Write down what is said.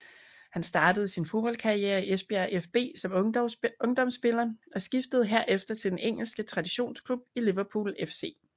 Han startede sin fodboldkarriere i Esbjerg fB som ungdomsspiller og skiftede herefter til den engelske traditionsklub Liverpool FC